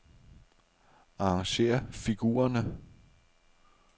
Arrangér figurerne.